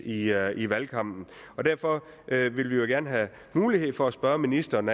i valgkampen derfor vil vi jo gerne have mulighed for at spørge ministeren